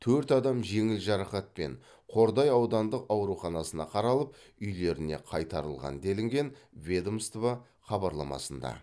төрт адам жеңіл жарақатпен қордай аудандық ауруханасына қаралып үйлеріне қайтарылған делінген ведомство хабарламасында